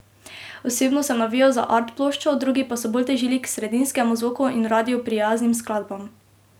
Osebno sem navijal za art ploščo, drugi pa so bolj težili k sredinskemu zvoku in radiu prijaznim skladbam.